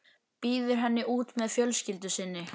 Býður henni út með fjölskyldu sinni.